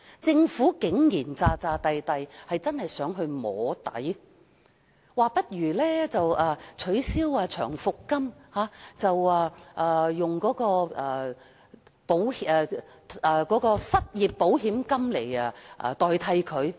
政府竟然裝模作樣，真的想"摸底"，當局說不如取消長期服務金，以失業保險金取代。